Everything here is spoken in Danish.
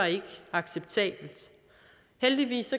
acceptabelt heldigvis